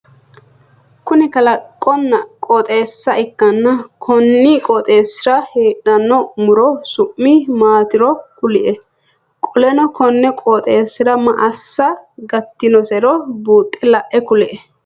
Kunni kalaqonna qooxeessa ikanna konni qooxeesira heedhano muro su'mi maatiro kuli? Qoleno konni qooxeesira maa assa gatinosiro buuxe lae kuli?